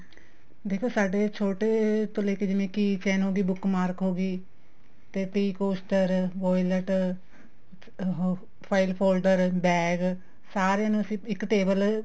ਦੇਖੋ ਸਾਡੇ ਛੋਟੇ ਤੋ ਲੈਕੇ ਜਿਵੇਂ ਕੀ faino ਦੀ book mark ਹੋਗੀ ਤੇ tea caster violet ਉਹ file folder bag ਸਾਰਿਆ ਨੂੰ ਅਸੀਂ ਇੱਕ table